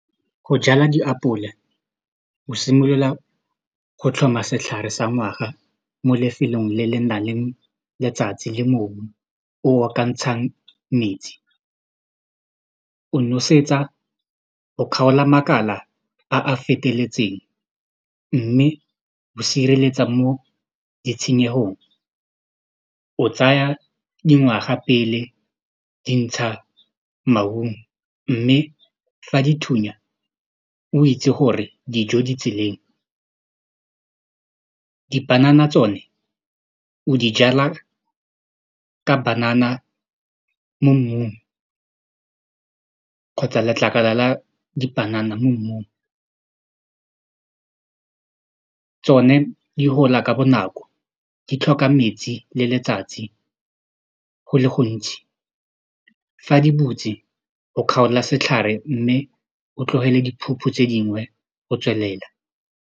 Go jala diapole o simolola go tlhoma setlhare sa ngwaga mo lefelong le le nang le letsatsi le mobu o o ka ntshang metsi o nosetsa o kgaola makala a a feteletseng mme o sireletsa mo ditshenyehong o tsaya dingwaga pele dintsha maungo mme fa dithunya o itse gore dijo di tseleng dipanana tsone o di jala ka banana mo mmung kgotsa letlakala la dipanana mo mmung tsone di gola ka bonako di tlhoka metsi le letsatsi go le gontsi fa di butse o kgaola setlhare mme o tlogele diphuphu tse dingwe go tswelela.